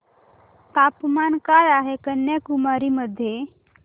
तापमान काय आहे कन्याकुमारी मध्ये